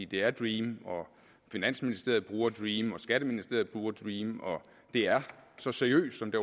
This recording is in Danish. det er dream finansministeriet bruger dream skatteministeriet bruger dream og det er så seriøst som det